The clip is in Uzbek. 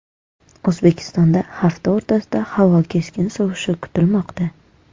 O‘zbekistonda hafta o‘rtasida havo keskin sovishi kutilmoqda.